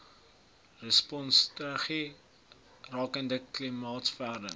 responsstrategie rakende klimaatsverandering